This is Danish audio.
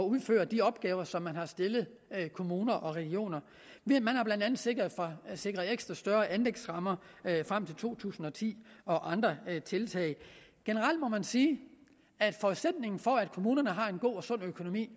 udføre de opgaver som man har stillet kommuner og regioner man har blandt andet sikret ekstra større anlægsrammer frem til to tusind og ti og andre tiltag generelt må man sige at forudsætningen for at kommunerne har en god og sund økonomi